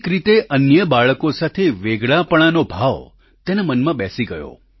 એક રીતે અન્ય બાળકો સાથે વેગળાપણાનો ભાવ તેના મનમાં બેસી ગયો